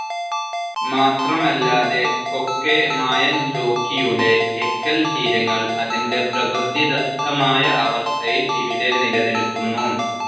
മാത്രമല്ലാതെ കൊക്കെമായെൻജോക്കിയുടെ എക്കൽത്തീരങ്ങൾ അതിൻ്റെ പ്രകൃതിദത്തമായ അവസ്ഥയിൽ ഇവിടെ നിലനിൽക്കുന്നു.